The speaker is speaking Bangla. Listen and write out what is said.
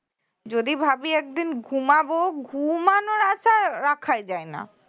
যদি ভাবি একদিন ঘুমাবো ঘুমানোর আশা রাখাই যায় না